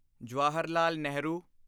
Jawaharlal Nehru